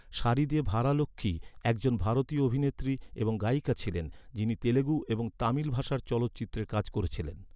সারিদে ভারালক্ষ্মী একজন ভারতীয় অভিনেত্রী এবং গায়িকা ছিলেন যিনি তেলুগু এবং তামিল ভাষার চলচ্চিত্রে কাজ করেছিলেন।